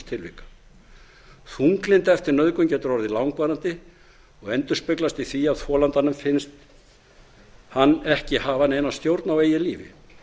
tilvika þunglyndi eftir nauðgun getur orðið langvarandi og endurspeglast í því að þolandanum finnst hann ekki hafa neina stjórn á eigin lífi